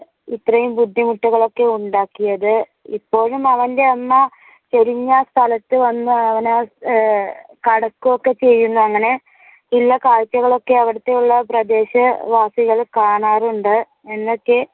ഇത്രയും ബുദ്ധിമുട്ടുകൾ ഒക്കെ ഉണ്ടാക്കിയത് ഇപ്പോഴും അവന്റെ അമ്മ ചരിഞ്ഞ സ്ഥലത്തു വന്നു അവനെ കടക്കുകയും ഒക്കെ ചെയ്യുന്നു. അങ്ങനെ കാഴ്ചകളൊക്കെ അവുടത്തെയുള്ള പ്രദേശവാസികൾ കാണാറുണ്ട് എന്നൊക്കെ